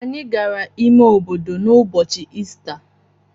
Anyị gara ime obodo n’ụbọchị Ista.